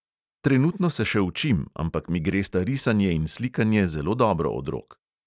Trenutno se še učim, ampak mi gresta risanje in slikanje zelo dobro od rok ...